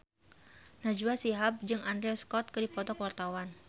Najwa Shihab jeung Andrew Scott keur dipoto ku wartawan